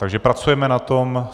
Takže pracujeme na tom.